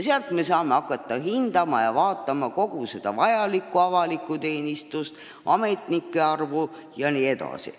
Selle alusel saame hakata hindama kogu avalikku teenistust – kui suur on ametnike arv jne.